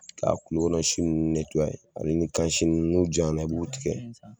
K'a kulo kɔnɔsin nunnu netuwaye ale ni kansi nunnu n'o janya na i b'u tigɛ